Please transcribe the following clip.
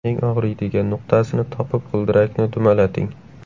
Eng og‘riydigan nuqtasini topib g‘ildirakni dumalating.